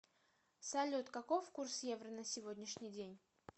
салют каков курс евро на сегодняшний день